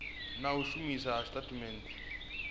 na u shumiswa kha indasiteri